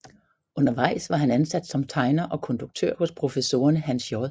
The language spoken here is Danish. Undervejs var han ansat som tegner og konduktør hos professorerne Hans J